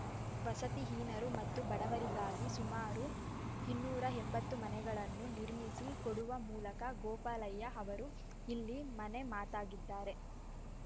ವಸತಿಹೀನರು ಮತ್ತು ಬಡವರಿಗಾಗಿ ಸುಮಾರು ಇನ್ನೂರ ಎಂಬತ್ತು ಮನೆಗಳನ್ನು ನಿರ್ಮಿಸಿ ಕೊಡುವ ಮೂಲಕ ಗೋಪಾಲಯ್ಯ ಅವರು ಇಲ್ಲಿ ಮನೆ ಮಾತಾಗಿದ್ದಾರೆ